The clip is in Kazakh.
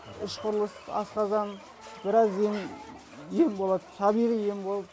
іш құрылыс асқазан біраз ем болады табиғи ем бол